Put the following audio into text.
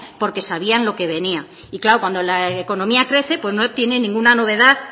porque sabían lo que venía y claro cuando la economía crece no tiene ninguna novedad